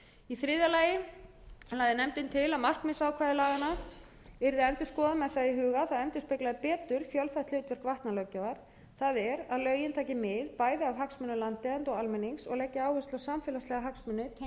í þriðja lagi lagði nefndin til að markmiðsákvæði laganna yrði endurskoðað með það í huga að það endurspeglaði betur fjölþætt hlutverk vatnalöggjafar það er að lögin taki mið bæði af hagsmunum landeigenda og almennings og leggi áherslu á samfélagslega hagsmuni tengda